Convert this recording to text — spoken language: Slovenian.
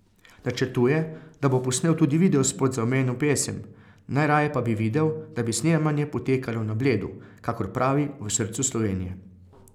Načrtuje, da bo posnel tudi videospot za omenjeno pesem, najraje pa bi videl, da bi snemanje potekalo na Bledu, kakor pravi, v srcu Slovenije.